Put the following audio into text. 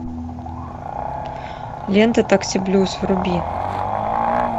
лента такси блюз вруби